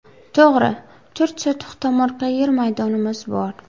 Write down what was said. To‘g‘ri, to‘rt sotix tomorqa yer maydonimiz bor.